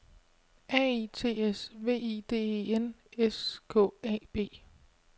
R E T S V I D E N S K A B